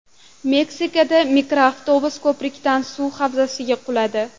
Meksikada mikroavtobus ko‘prikdan suv havzasiga quladi .